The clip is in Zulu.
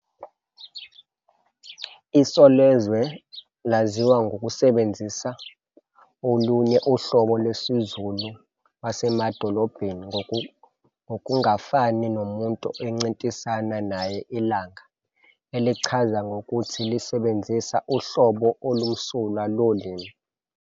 "Isozwele" laziwa ngokusebenzisa olunye uhlobo lwesiZulu "lwasemadolobheni, ngokungafani nomuntu esincintisana naye Ilanga", elizichaza ngokuthi lisebenzisa "uhlobo olumsulwa" lolimi.